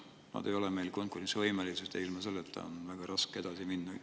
Need ei ole meil konkurentsivõimelised ja nii on väga raske edasi minna.